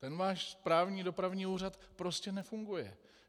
Ten váš správní dopravní úřad prostě nefunguje.